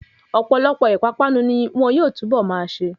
Ọ̀pọ̀lọpọ̀ ìpápánu ni wọn yóò túnbọ̀ máa ṣe.